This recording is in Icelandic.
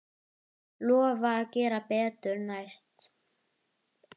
Lofa að gera betur næst.